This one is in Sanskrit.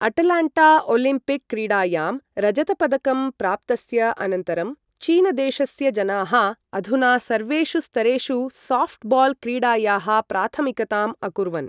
अटलाण्टा ओलम्पिक क्रीडायां रजतपदकं प्राप्तस्य अनन्तरं चीन देशस्य जनाः अधुना सर्वेषु स्तरेषु सॉफ्टबॉल क्रीडायाः प्राथमिकताम् अकुर्वन् ।